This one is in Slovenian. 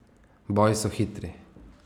Boji so hitri.